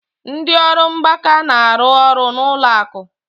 Ndị ọrụ mgbakọ na-arụ ọrụ n'ụlọ akụ.